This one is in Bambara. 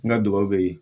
N ka dugawu be ye